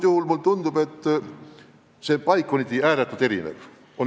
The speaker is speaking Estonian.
Mulle tundub, et asjade seis on paikkonniti ääretult erinev.